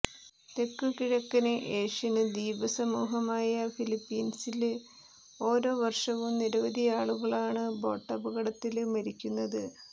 തെക്കുകിഴക്കന് Asian ദ്വീപസമൂഹമായ ഫിലിപ്പീന്സില് ഓരോ വര്ഷവും നിരവധിയാളുകളാണ് ബോട്ടപകടങ്ങളില് മരിക്കുന്നത്